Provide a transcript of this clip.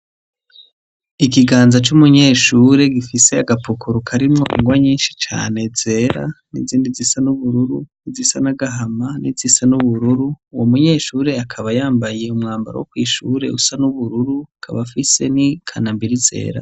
Ikiganza c'umunyeshure gifise agapukuru karimwo ingwa nyinshi cane zera, n'izindi zisa n'ubururu, izisa n'agahama, n'izisa n'ubururu, uwo munyeshure akaba yambaye umwambaro wo kw'ishure usa n'ubururu, akaba afise n'ikanambiri zera.